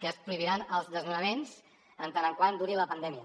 que es prohibiran els desnonaments mentre duri la pandèmia